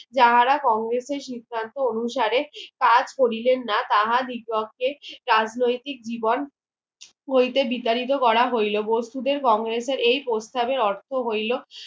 যাহারা কংগ্রেসের সিদ্ধান্ত অনুসারে কাজ করিলেন না তাহা দিগকক্ষে রাজনৈতিক জীবন হইতে বিচারিত করা হইলো বসুদের কংগ্রেসের এই প্রস্তাবে অর্থ হইলো